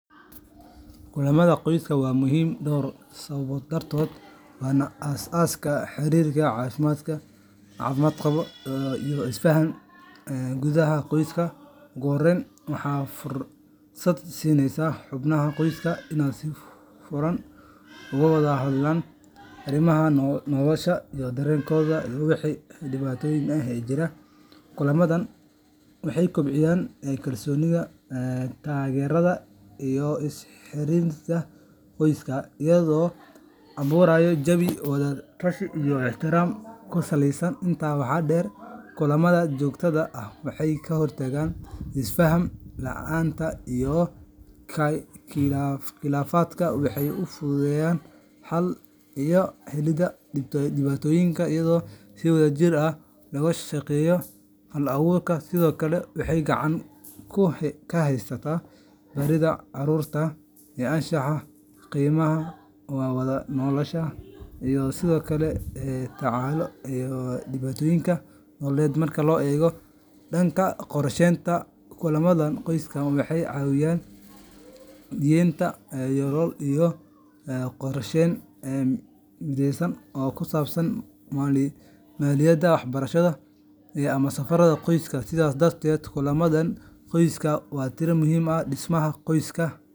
Kulamaada qoyska waa muhiim door sawabood dartood wana asaska xirirka cafimaad qawo iyo isfahan gudaha qoska, ugu horen waxaa fursaad sineysa in aad si fur furan oga wadha hadlan nolosha iyo daren wixi diwatoyin ah ee jira waxee kobciyan donidha tageradha is xiririnta iyadho aburayo jawi wadha tashi iyo ixtiram kusaleysan, intas waxaa deer kulamaada jogtadha ah ee ka hortaga isfahanka iyo qilafaadka waxee u fudhudeyan iyo dalinka iyadho si wadha jir ah loga shaqeyo hal aburka sithokale waxee gacanta kahaysata carurta ee anshaxa waa wadha nolosha iyo sithokale madoyinka marki lo ego danka qorshenta kulamaada qoyska waxee cawiyan iyo qorsheyn mideysan oo kusabsan maliyaada ama safarada qoyska sithas darteed kulamaada qoyska waa tira muhiim ah.